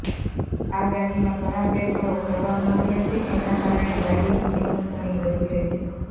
આ ગાડીમાં ઘણાં ફેરફારો કરવામાં આવ્યાં છે એનાં કારણે ગાડીની કિંમત ઘણી વધી ગઈ છે